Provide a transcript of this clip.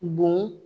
Bon